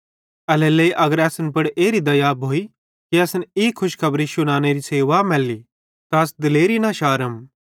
एल्हेरेलेइ अगर असन पुड़ एरी दया भोइ कि असन ई खुशखबरी शुनानेरी सेवा मैल्ली त अस दिलेरी न शारम